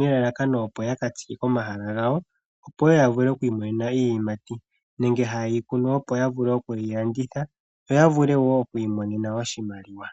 nelalakano opo yaka tsike komahala gawo opo ya vule okwiimonena iiyimati, nenge haye yi kunu opo ya vule okuyi landitha yiimonene mo oshimaliwa.